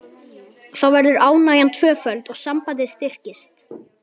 Þá verður ánægjan tvöföld og sambandið styrkist.